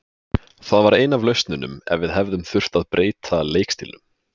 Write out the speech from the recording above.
Það var ein af lausnunum ef við hefðum þurft að breyta leikstílnum.